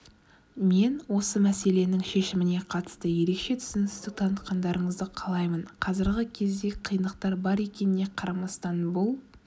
мен осы мәселенің шешіміне қатысты ерекше түсіністік танытқандарыңызды қалаймын қазіргі кезде қиындықтар бар екеніне қарамастан бұл